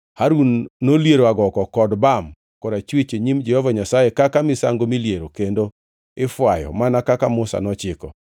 Harun noliero agoko kod bam korachwich e nyim Jehova Nyasaye kaka misango miliero kendo ifwayo mana kaka Musa nochiko.